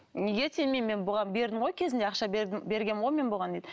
неге тимеймін мен бұған бердім ғой кезінде ақша бергенмін ғой бұған дейді